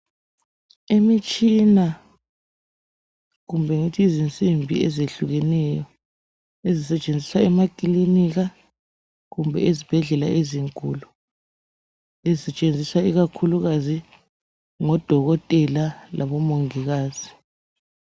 Imitshina kumbe ngithi izinsimbi ezehlukeneyo ezisetshenziswa emakilinika kumbe ezibhedlela ezinkulu ezisetshenziswa ikakhulukazi ngodokotela labomongikazi.